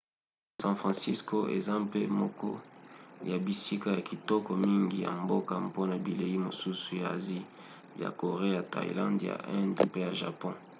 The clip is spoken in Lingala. san francisco eza mpe moko ya bisika ya kitoko mingi ya mboka mpona bilei mosusu ya asie: ya corée ya thaïlande ya inde mpe ya japon